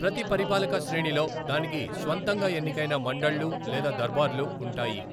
ప్రతి పరిపాలక శ్రేణిలో దానికి స్వంతంగా ఎన్నికైన మండళ్లు లేదా దర్బార్లు ఉంటాయి.